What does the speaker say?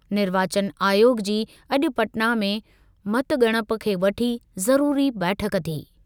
निर्वाचन आयोग जी अॼु पटना में मतॻणप खे वठी ज़रूरी बैठक थी।